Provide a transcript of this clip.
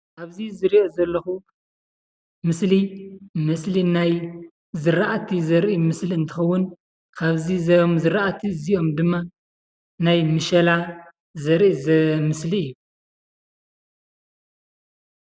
እቲ ዝሪኦ ዘለኹ ምስሊ ምስሊ ናይ ዝርኣቲ ዘርኢ ምስሊ እንትኸውን ካብዞም ዝርኣቲ እዚኦም ድማ ናይ ምሸላ ዘርኢ ምስሊ እዩ፡፡